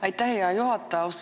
Aitäh, hea juhataja!